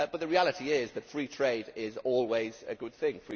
The reality is that free trade is always a good thing